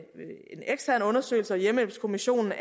hjemmehjælpskommissionen